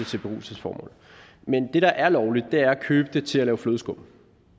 til beruselsesformål men det der er lovligt er at købe det til at lave flødeskum